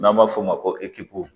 N'an b'a f'o ma ko ekipo